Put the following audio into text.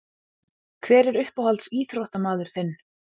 Hver er uppáhalds íþróttamaður þinn?